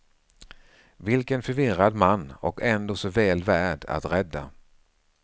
Vilken förvirrad man, och ändå så väl värd att rädda.